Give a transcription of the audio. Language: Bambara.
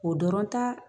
O dɔrɔn ta